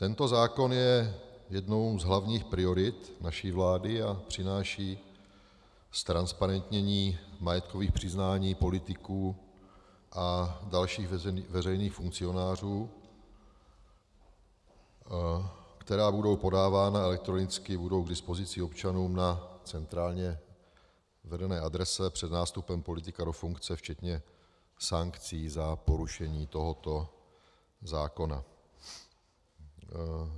Tento zákon je jednou z hlavních priorit naší vlády a přináší ztransparentnění majetkových přiznání politiků a dalších veřejných funkcionářů, která budou podávána elektronicky, budou k dispozici občanům na centrálně vedené adrese před nástupem politika do funkce včetně sankcí za porušení tohoto zákona.